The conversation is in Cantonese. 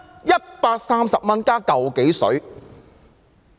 130元，只有"嚿幾水"。